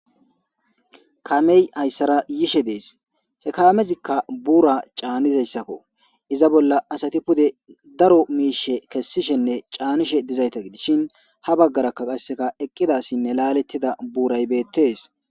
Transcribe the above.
kamey ayssara yishe dees he kaamezikka buura caanizayssakko iza bolla asati pude daro miishe keshshishenne caanishe dizayta gidishin ha baggarakka qasseka eqqida asinne laalettida buuray beettees